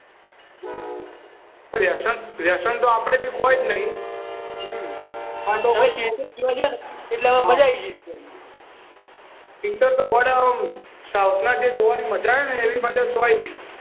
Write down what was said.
વ્યસન તો આપણે બી કોઈ નહીં તો ભાઈ આપણે તો પિક્ચર જોવા ગયા ને મજા આવી ગઈ પિક્ચર તો ગોડા ઓમ સાઉથના જોવાની મજા છે ને એવી ચોય નહીં